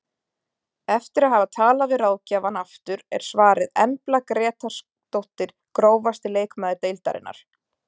Eftir að hafa talað við ráðgjafann aftur er svarið Embla Grétarsdóttir Grófasti leikmaður deildarinnar?